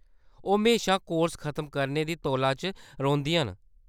ओह्‌‌ म्हेशा कोर्स खतम करने दी तौला च रौंह्‌‌‌दियां न।